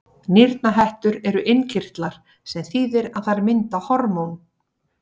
Nýrnahettur eru innkirtlar, sem þýðir að þær mynda hormón.